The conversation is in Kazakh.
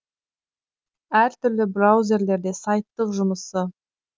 әр түрлі браузерлерде сайттық жұмысы